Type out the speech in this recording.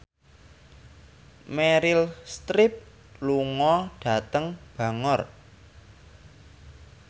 Meryl Streep lunga dhateng Bangor